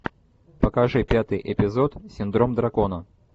покажи пятый эпизод синдром дракона